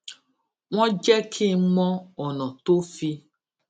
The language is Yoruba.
wón jé kí n mọ ònà tó fi